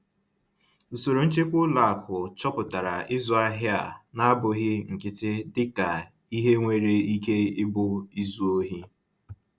Usoro nchekwa ụlọ akụ chọpụtara ịzụ ahịa a na-abụghị nkịtị dịka ihe nwere ike ịbụ izu ohi.